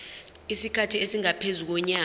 isikhathi esingaphezu konyaka